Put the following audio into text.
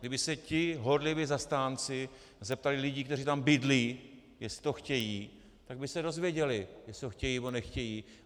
Kdyby se ti horliví zastánci zeptali lidí, kteří tam bydlí, jestli to chtějí, tak by se dozvěděli, jestli to chtějí, nebo nechtějí.